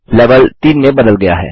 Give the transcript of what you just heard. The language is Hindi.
लेवल 3 में बदल गया है